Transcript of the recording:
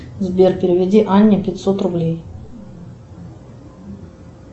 сбер переведи анне пятьсот рублей